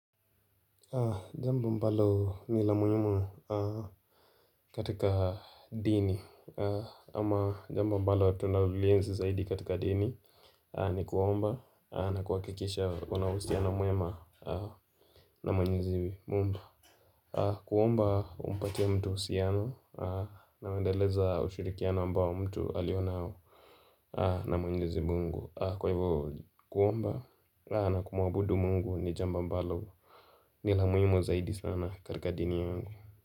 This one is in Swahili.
Jambo mbalo ni lamuyimu katika dini Ama jamba mbalo watu nalulienzi zaidi katika dini ni kuomba na kuwakikisha kuna usiano muema na mwenyeziwi mumba kuomba umpatiya mtu usiano na unaoendeleza ushirikiana ambao mtu alionao na mwenyezi mungu Kwa hivyo kuomba na kumuabudu mungu ni jamba mbalo nila muhimu zaidi sana katika dini yangu.